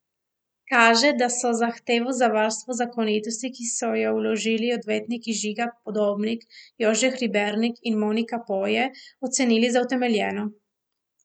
Kaže, da so zahtevo za varstvo zakonitosti, ki so jo vložili odvetniki Žiga Podobnik, Jože Hribernik in Monika Poje, ocenili za utemeljeno.